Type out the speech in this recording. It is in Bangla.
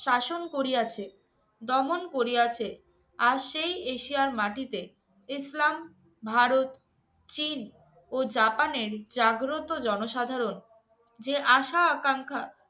শাসন করিয়াছে, দমন করিয়াছে। আজ সেই এশিয়ার মাটিতে ইসলাম, ভারত, চীন ও জাপানের জাগ্রত জনসাধারণ যে আশা আকাঙ্খা